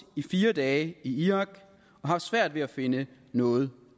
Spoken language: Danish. i fire dage i irak og har svært ved at finde noget